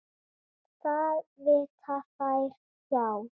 Það vita þær hjá